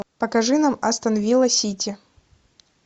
покажи нам астон вилла сити